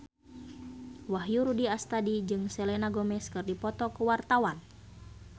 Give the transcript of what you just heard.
Wahyu Rudi Astadi jeung Selena Gomez keur dipoto ku wartawan